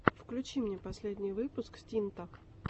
включи мне последний выпуск стинта